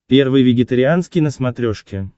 первый вегетарианский на смотрешке